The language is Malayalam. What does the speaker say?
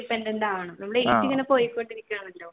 independent ആവണം age ഇങ്ങനെ പോയികൊണ്ട് ഇരിക്കുകയാണെല്ലോ.